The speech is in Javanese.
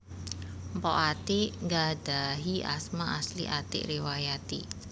Mpok Atiek nggadhahi asma asli Atiek Riwayati